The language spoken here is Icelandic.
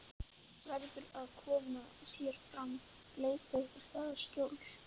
Hún mætti augnaráði hans, ævareið, en sleppti honum þó.